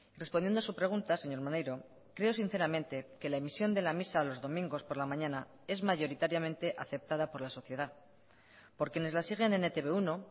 respondiendo a su pregunta señor maneiro creo sinceramente que la emisión de la misa de los domingos por la mañana es mayoritariamente aceptada por la sociedad por quienes las siguen en e te be uno